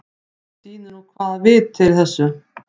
Það sýnir nú sko hvaða vit er í þessu.